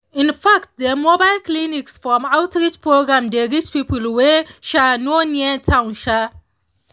in fact dem mobile clinics from outreach programs dey reach people wey um no near town um